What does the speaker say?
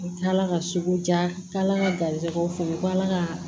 U taala ka sugu jala ka garijɛgɛw fo k'ala ka